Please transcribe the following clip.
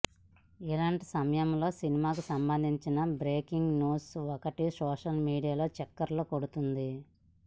ఇలాంటి సమయంలో సినిమాకు సంబంధించిన బ్రేకింగ్ న్యూస్ ఒకటి సోషల్ మీడియాలో చక్కర్లు కొడుతోంది